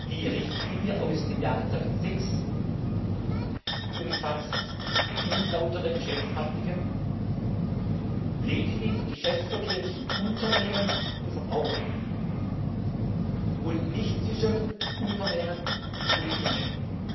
Die Richtlinie aus dem Jahre 2006 umfasst unlautere Geschäftspraktiken lediglich im Geschäftsverkehr zwischen Unternehmen und Verbrauchern und nicht zwischen Unternehmen und Unternehmen.